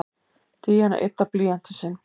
Díana yddar blýantinn sinn.